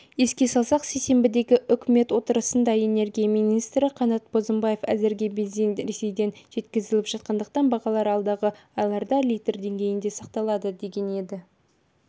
еске салсақ сейсенбідегі үкімет отырысында энергетика министрі қанат бозымбаев әзірге бензин ресейден жеткізіліп жатқандықтан бағалар алдағы айларда литр деңгейінде сақталады деген еді